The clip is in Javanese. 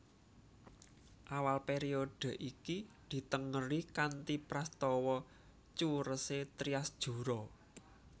Awal périodhe iki ditengeri kanthi prastawa curesé Trias Jura